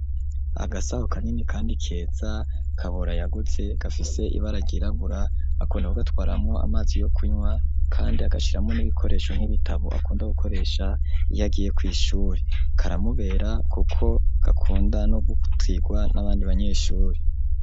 Agasaho kanini kandi keza kabura yaguze gafise ibara ryirabura akunda kugatwaramo amazi yo kunywa kandi agashiramwo n'ibikoresho nk'ibitabo akunda gukoresha iyagiye ku ishuri karamubera kuko gakunda no gutirwa n'abandi banyeshuri.